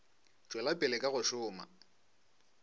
tšwela pele ka go šoma